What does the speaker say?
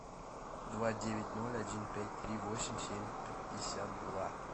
два девять ноль один пять три восемь семь пятьдесят два